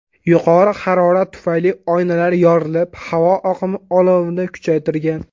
Yuqori harorat tufayli oynalar yorilib, havo oqimi olovni kuchaytirgan.